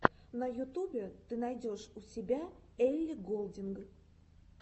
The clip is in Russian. на ютубе ты найдешь у себя элли голдинг